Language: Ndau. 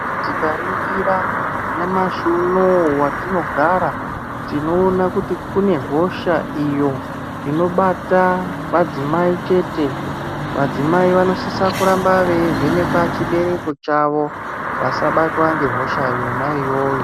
Tikaringira nyamashi unowu watinogara, tinoona kuti kune hosha iyo inobata madzimai chete, madzimai vanosisa kuramba veyi vhenekwa chibereko chavo ,vasabatwa ngehosha yona iyoyo.